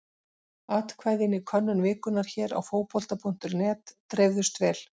Atkvæðin í könnun vikunnar hér á Fótbolta.net dreifðust vel.